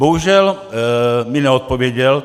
Bohužel mi neodpověděl.